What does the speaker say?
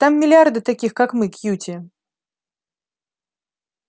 там миллиарды таких как мы кьюти